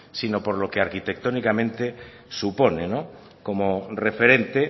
sino porque arquitectónicamente supone como referente